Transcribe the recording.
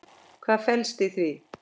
Hvað felst í því?